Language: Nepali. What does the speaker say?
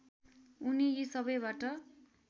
उनी यी सबैबाट